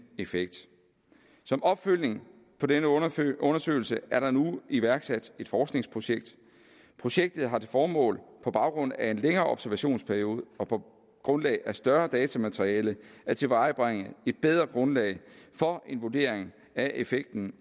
effekt som opfølgning på denne undersøgelse undersøgelse er der nu iværksat et forskningsprojekt projektet har til formål på baggrund af en længere observationsperiode og på grundlag af et større datamateriale at tilvejebringe et bedre grundlag for en vurdering af effekten